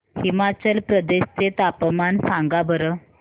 हिमाचल प्रदेश चे तापमान सांगा बरं